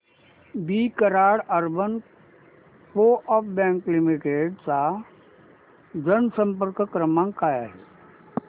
दि Karad urban co-op bank limited चा जनसंपर्क क्रमांक काय आहे